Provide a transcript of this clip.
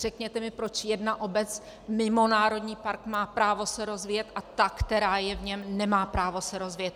Řekněte mi, proč jedna obec mimo národní park má právo se rozvíjet a ta, která je v něm, nemá právo se rozvíjet!